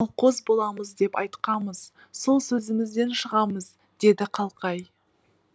қалқоз боламыз деп айтқамыз сол сөзімізден шығамыз деді қалқай